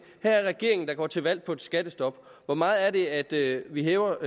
det regeringen der går til valg på et skattestop hvor meget er det er det vi hæver